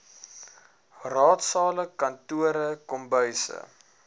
raadsale kantore kombuise